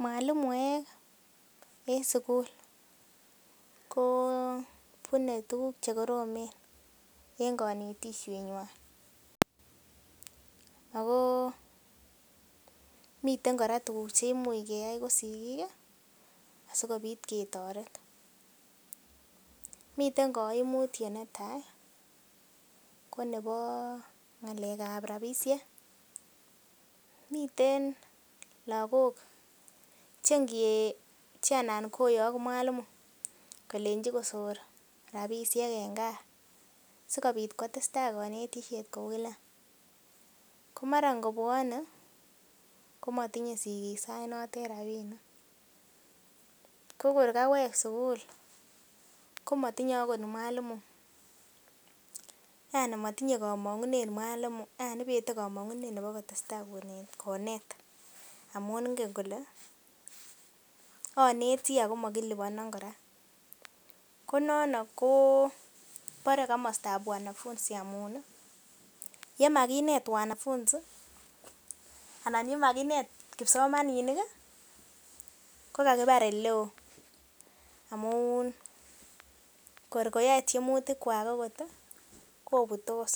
Mwalimuek en sukul ko bune tuguk chekoromen en konetisiet nywan ako miten kora chekimuch keyai kokisigik ih asikemuch ketoret miten koimutyet netaa ko nebo ng'alek ab rapisiek miten lakok che nge che anan koyok mwalimu kolenji kosor rapisiek en gaa sikobit kotesetai konetisiet kou kila ko mara ngobwone komotinye sigik sait notet rapinik ko kor kawek sukul komotinye akot mwalimu yani motinye komong'unet mwalimu yani ibete komong'unet nebo kotesetai konet amun ngen kole onetii ako mokiliponon kora ko nono ko bore komostab wanafunzi amun ih yemakinet wanafunzi anan yemakinet kipsomaniat ih kokaibar eleoo amun kor koyoe tyemutik kwak okot ih kobutos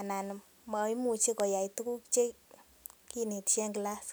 anan moimuche koyai tuguk chekinetisye en class